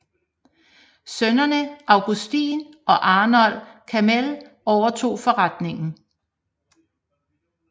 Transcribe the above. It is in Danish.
Sønnene Augustin og Arnold Gamél overtog forretningen